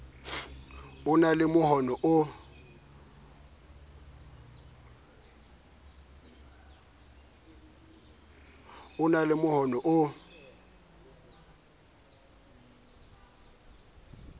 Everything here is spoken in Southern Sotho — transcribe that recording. o na le mohono o